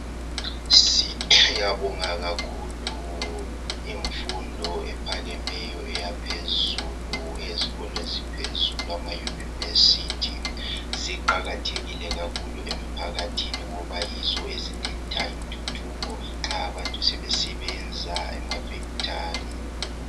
siyabonga kakhulu imfundo ephakemeyo eyaphezulu eyezikolo eziphezulu ama university ziqakathekile kakhulu emphakathini ngoba yizo eziletha intuthuko nxa abantu sebesebenza ema factory